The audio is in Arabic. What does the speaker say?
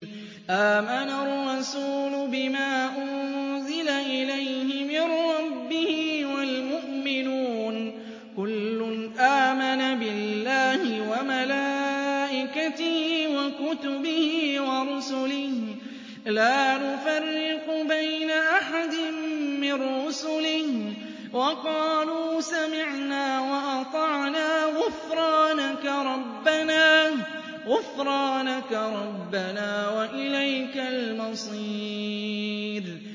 آمَنَ الرَّسُولُ بِمَا أُنزِلَ إِلَيْهِ مِن رَّبِّهِ وَالْمُؤْمِنُونَ ۚ كُلٌّ آمَنَ بِاللَّهِ وَمَلَائِكَتِهِ وَكُتُبِهِ وَرُسُلِهِ لَا نُفَرِّقُ بَيْنَ أَحَدٍ مِّن رُّسُلِهِ ۚ وَقَالُوا سَمِعْنَا وَأَطَعْنَا ۖ غُفْرَانَكَ رَبَّنَا وَإِلَيْكَ الْمَصِيرُ